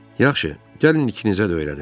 "Yaxşı, gəlin ikinizə də öyrədim."